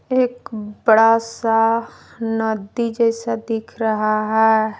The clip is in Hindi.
एक बड़ा सा नदी जैसा दिख रहा है।